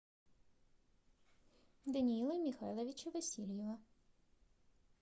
даниила михайловича васильева